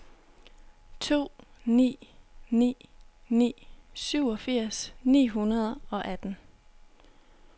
to ni ni ni syvogfirs ni hundrede og atten